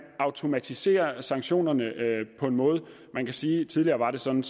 automatiserer sanktionerne man kan sige at tidligere var det sådan